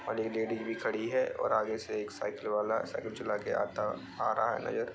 और एक लेडीज भी खड़ी है और आगे से एक साइकिल वाला साइकिल चला के आता आ रहा है नजर।